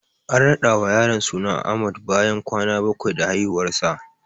An rada wa yaron suna Ahmad bayan kwana bakwai da haihuwarsa.